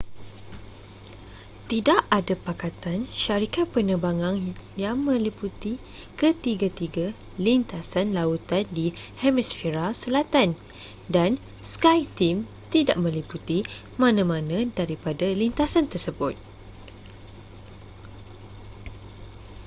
tidak ada pakatan syarikat penerbangan yang meliputi ketiga-ketiga lintasan lautan di hemisfera selatan dan skyteam tidak meliputi mana-mana daripada lintasan tersebut